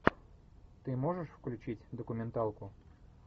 ты можешь включить документалку